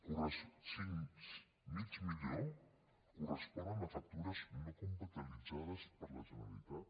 zero mig milió correspon a factures no comptabilitzades per la generalitat